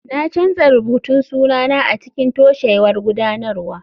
Na canza rubutun sunana a cikin toshewar gudanarwa.